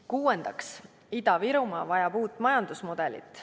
Kuuendaks, Ida-Virumaa vajab uut majandusmudelit.